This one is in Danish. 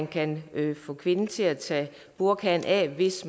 kan man få kvinden til at tage burkaen af hvis